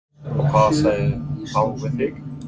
Og hvað sögðu þau við þig?